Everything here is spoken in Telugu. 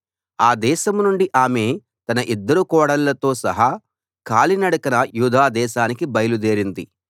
ఆ దేశం నుండి ఆమె తన ఇద్దరు కోడళ్ళతో సహా కాలి నడకన యూదా దేశానికి బయలు దేరింది